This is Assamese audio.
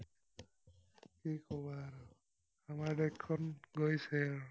কি কবা আৰু। আমাৰ দেশখন গৈছেই আৰু।